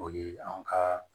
O ye an ka